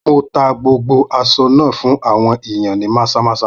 Mo tá gbogbo aṣọ náà fún àwọn ìyàn ní Maza-maza.